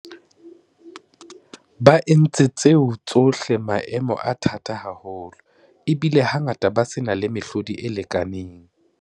Ba entse tseo tsohle maemong a thata haholo, ebile hangata ba se na le mehlodi e lekaneng.